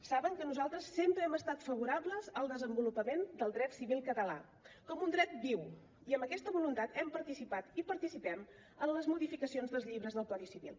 saben que nosaltres sempre hem estat favorables al desenvolupament del dret civil català com un dret viu i amb aquesta voluntat hem participat i participem en les modificacions dels llibres del codi civil